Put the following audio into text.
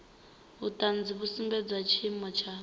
vhuṱanzi vhu sumbedzaho tshiimo tsha